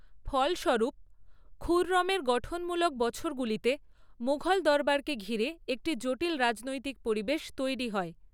ফলস্বরূপ, খুররমের গঠনমূলক বছরগুলিতে মুঘল দরবারকে ঘিরে একটি জটিল রাজনৈতিক পরিবেশ তৈরি হয়।